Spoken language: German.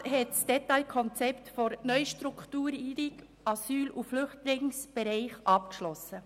Der Regierungsrat hat das Detailkonzept NA-BE abgeschlossen.